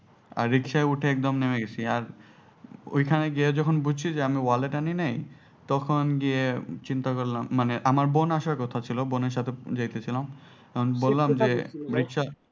আর রিক্সায় উঠে একদম নেমে গেছি আর ওইখানে গিয়ে যখন বুঝছি আমি যে wallet আনি নাই তখন গিয়ে চিন্তা করলাম মানে আমার বোন আসার কথা ছিল বোনের সাথে যাইতেছিলাম বললাম যে রিক্সা